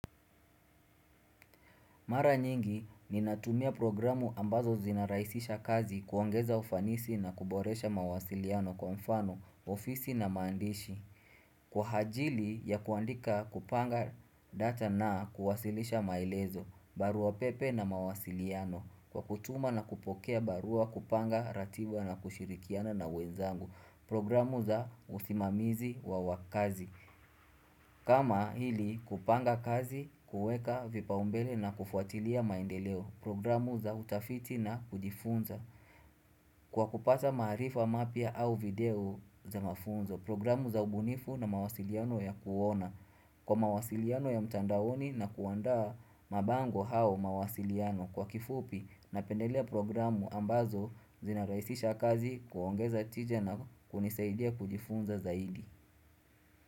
Mara nyingi, ninatumia programu ambazo zinarahisisha kazi kuongeza ufanisi na kuboresha mawasiliano kwa mfano, ofisi na maandishi. Kwa ajili ya kuandika kupanga data na kuwasilisha maelezo, barua pepe na mawasiliano, kwa kutuma na kupokea barua kupanga ratiba na kushirikiana na wenzangu. Programu za usimamizi wa wakazi. Kama hili kupanga kazi kueka vipaumbele na kufuatilia maendeleo programu za utafiti na kujifunza Kwa kupata maarifa mapya au video za mafunzo programu za ubunifu na mawasiliano ya kuona Kwa mawasiliano ya mtandaoni na kuandaa mabango hao mawasiliano kwa kifupi napendelea programu ambazo zinarahisisha kazi kuongeza tija na kunisaidia kujifunza zaidi.